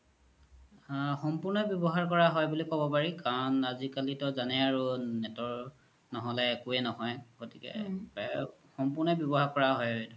আ সম্পুৰ্ন ৱ্যবহাৰ কৰা হয় বুলি কব পাৰি কাৰন আজিকালি তু জানেই আৰু net ৰ ন্হলে একোৱে ন্হয় গ্তিকে সম্পুৰ্নই ৱ্যবহাৰ কৰা হয়